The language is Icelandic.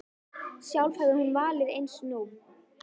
Sjálf hefði hún valið eins nú.